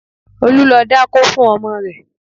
Olu lọ dákó fun ọmọ rẹ̀